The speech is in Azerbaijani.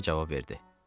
Yeva cavab verdi.